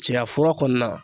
Cɛyafura kɔni na